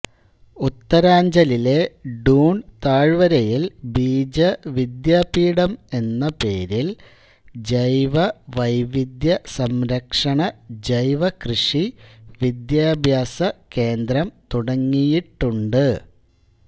ഉത്തരാഞ്ചലിലെ ഡൂൺ താഴ്വരയിൽ ബീജ വിദ്യാപീഠം എന്ന് പേരിൽ ജൈവ വൈവിദ്ധ്യ സംരക്ഷണ ജൈവ കൃഷി വിദ്യാഭ്യാസ കേന്ദ്രം തുടങ്ങിയിട്ടുണ്ട്